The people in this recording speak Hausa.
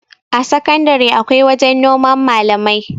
a sakandare akwai wajen noman malamai